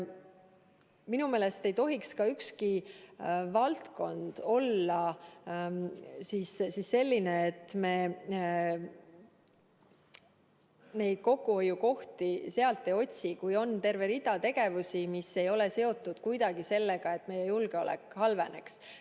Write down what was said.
Minu meelest ei tohiks ükski valdkond olla selline, et me sealt kokkuhoiukohti ei otsi, kui on terve rida tegevusi, mis ei ole seotud kuidagi sellega, et meie julgeolek halveneks.